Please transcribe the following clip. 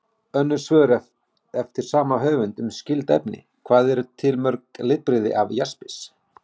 Önnur svör eftir sama höfund um skyld efni: Hvað eru til mörg litbrigði af jaspis?